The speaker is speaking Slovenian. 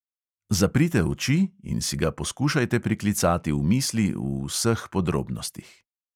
Zaprite oči in si ga poskušajte priklicati v misli v vseh podrobnostih.